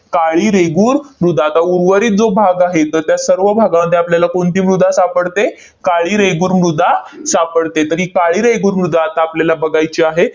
काळी रेगूर मृदा. आता उर्वरित जो भाग आहे, तर त्या सर्व भागामध्ये आपल्याला कोणती मृदा सापडते? काळी रेगूर मृदा सापडते. तर ही काळी रेगूर मृदा आता आपल्याला बघायची आहे.